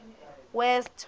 west